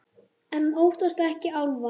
En hún óttast ekki álfa.